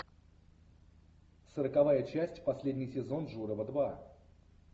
сороковая часть последний сезон журова два